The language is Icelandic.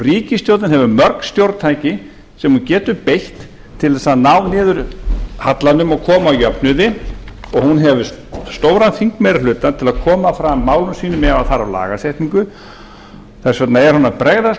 ríkisstjórnin hefur mörg stjórntæki sem hún getur beitt til þess að ná niður hallanum og koma á jöfnuði og hún hefur stóran þingmeirihluta til að koma fram málum sínum ef þarf lagasetningu þess vegna er hún að bregðast